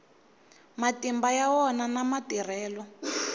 matimba ya wona na matirhelo